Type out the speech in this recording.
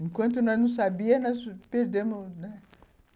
Enquanto nós não sabíamos, nós perdemos, né?